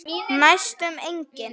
Næstum engin.